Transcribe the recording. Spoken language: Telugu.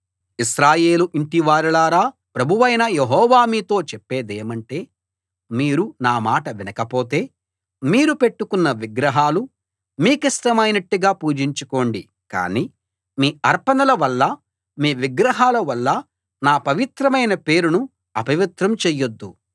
ఇశ్రాయేలు ఇంటివారలారా ప్రభువైన యెహోవా మీతో చెప్పేదేమంటే మీరు నామాట వినకపోతే మీరు పెట్టుకున్న విగ్రహాలు మీ కిష్టమైనట్టుగా పూజించుకోండి కాని మీ అర్పణల వల్ల మీ విగ్రహాల వల్ల నా పవిత్రమైన పేరును అపవిత్రం చెయ్యొద్దు